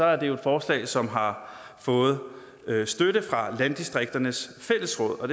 er jo et forslag som har fået støtte fra landdistrikternes fællesråd og